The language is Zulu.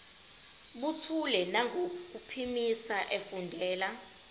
buthule nangokuphimisa efundela